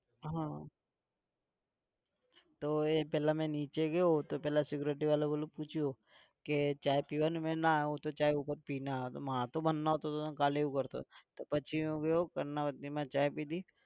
હા તો એ પહેલા મેં નીચે ગયો તો પેલા security વાળા એ ઓંલું પૂછ્યું કે ચા પીવાની? મેં ના હું તો ચા તો ઉપર પી ને આવ્યો હતો કાલે એવું કરતો હતો પછી હું ગયો કર્ણાવતીમાં ચા પીધી.